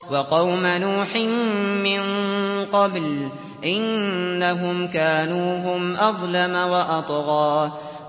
وَقَوْمَ نُوحٍ مِّن قَبْلُ ۖ إِنَّهُمْ كَانُوا هُمْ أَظْلَمَ وَأَطْغَىٰ